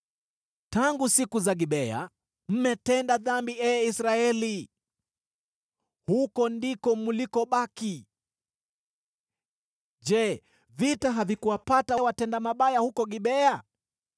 “Tangu siku za Gibea, mmetenda dhambi, ee Israeli, huko ndiko mlikobaki. Je, vita havikuwapata watenda mabaya huko Gibea?